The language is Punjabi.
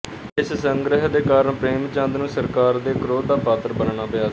ਇਸ ਸੰਗ੍ਰਿਹ ਦੇ ਕਾਰਨ ਪ੍ਰੇਮਚੰਦ ਨੂੰ ਸਰਕਾਰ ਦੇ ਕ੍ਰੋਧ ਦਾ ਪਾਤਰ ਬਣਨਾ ਪਿਆ ਸੀ